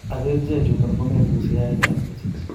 Ak, kerichek chuton komaboose yaetab kesich.